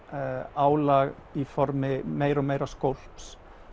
álag í formi meira og meira skólps